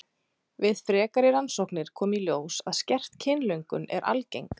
Við frekari rannsóknir kom í ljós að skert kynlöngun er algeng.